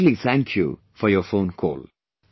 I specially thank you for your phone call